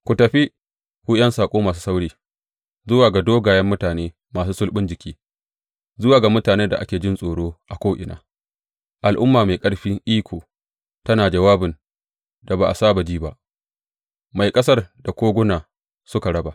Ku tafi, ku ’yan saƙo masu sauri, zuwa ga dogayen mutane masu sulɓin jiki, zuwa ga mutanen da ake jin tsoro a ko’ina, al’umma mai ƙarfin iko tana jawabin da ba a saba ji ba, mai ƙasar da koguna suka raba.